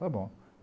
Está bom.